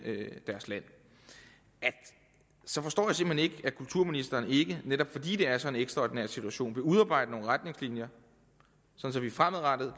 deres land at kulturministeren ikke netop fordi det er sådan en ekstraordinær situation vil udarbejde nogle retningslinjer sådan at vi fremadrettet